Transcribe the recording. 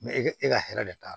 e ka e ka hɛrɛ de b'a la